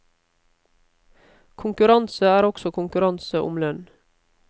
Konkurranse er også konkurranse om lønn.